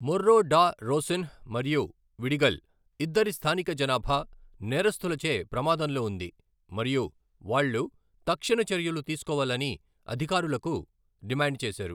మొర్రో da Rocinha మరియు Vidigal, ఇద్దరి స్థానిక జనాభా నేరస్థులచే ప్రమాదంలో ఉంది మరియు వాళ్ళు తక్షణ చర్యలు తీసుకోవాలని అధికారులుకు డిమాండ్ చేశారు.